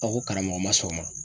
A ko karamɔgɔ ma sɔn o ma.